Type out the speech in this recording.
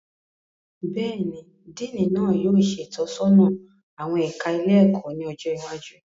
Béèni, Diini náà yóò ṣe itọsọna awọn ẹka ilé-ẹkọ ní ọjọ iwájú